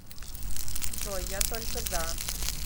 джой я только за